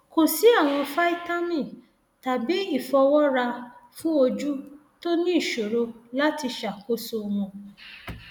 kò sí àwọn fítámì tàbí ìfọwọra fún ojú tó ní ìṣòro láti ṣàkóso wọn